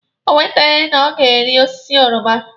O kweteghi na ọ ga-ari osiso oroma.